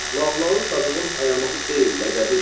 Lağlağı Sadığın ayaması deyil, ləqəbidir.